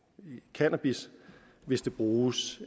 cannabis hvis det bruges